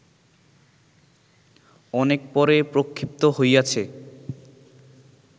অনেক পরে প্রক্ষিপ্ত হইয়াছে